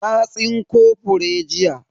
Na tsinko fure jiya.